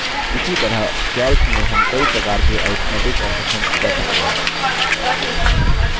इसी तरह calc में हम कई प्रकार के arithmetic operations कर सकते हैं